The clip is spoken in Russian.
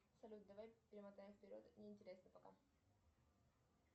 салют давай перемотаем вперед не интересно пока